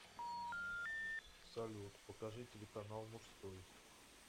салют покажи телеканал мужской